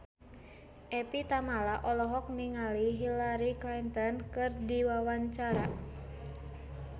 Evie Tamala olohok ningali Hillary Clinton keur diwawancara